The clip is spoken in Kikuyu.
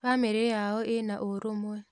Bamĩrĩ yao ĩna ũrũmwe